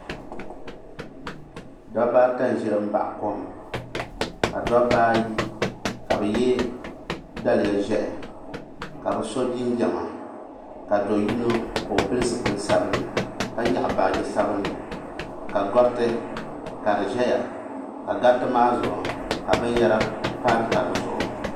Dabba ata n za m baɣi kom ka dabba ayi ka bɛ ye daliya ʒehi ka bɛ so jinjiɛma ka do'yino ka o pili zipil sabinli ka nyaɣi baaji sabinli ka gariti ka di ʒɛya ka gariti maa zuɣu ka binyɛra pa taba zuɣu .